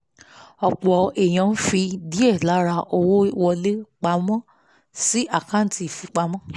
ọ̀pọ̀ èèyàn ń fi díẹ̀ lára owó wọlé pa mọ́ sí àkáǹtì ìfipamọ́